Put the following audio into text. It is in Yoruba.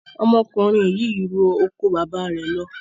Ọmọkùnrin yìí n ro oko baba rẹ̀ ló